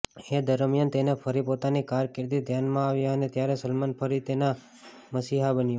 એ દરમિયાન તેને ફરી પોતાની કારકિર્દી ધ્યાનમાં આવી અને ત્યારે સલમાન ફરી તેનો મસીહા બન્યો